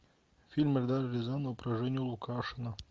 фильм эльдара рязанова про женю лукашина